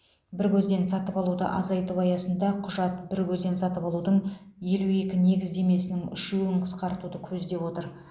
бір көзден сатып алуды азайту аясында құжат бір көзден сатып алудың елу екі негіздемесінің үшеуін қысқартуды көздеп отыр